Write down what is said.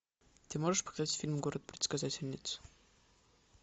ты можешь показать фильм город предсказательниц